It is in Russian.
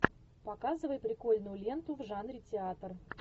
показывай прикольную ленту в жанре театр